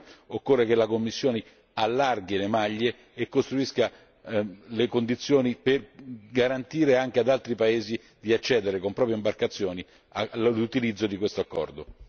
Nella sua fase di implementazione occorre che la Commissione allarghi le maglie e costruisca le condizioni per garantire anche ad altri paesi di accedere con proprie imbarcazioni all'utilizzo di questo accordo.